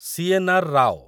CNR. Rao